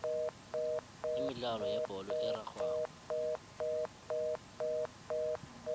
imidlalo yebholo erarhwako